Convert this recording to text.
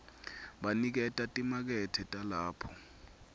baniketa timakethe talapho